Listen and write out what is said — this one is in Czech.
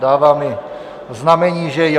Dává mi znamení, že jo.